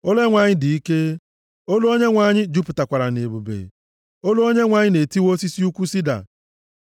Olu Onyenwe anyị dị ike, olu Onyenwe anyị jupụtakwara nʼebube.